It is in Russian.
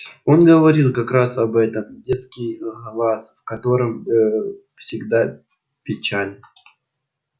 он говорил как раз об этом детский глаз в котором э всегда печаль